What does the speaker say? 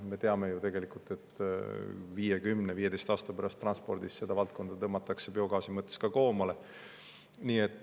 Me teame ju, et 5, 10 või 15 aasta pärast transpordis seda valdkonda tõmmatakse biogaasi kasutamisel koomale.